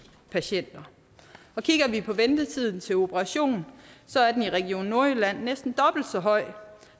patienter kigger vi på ventetiden til operation så er den i region nordjylland næsten dobbelt så høj